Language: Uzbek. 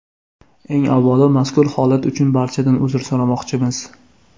Eng avvalo mazkur holat uchun barchadan uzr so‘ramoqchimiz.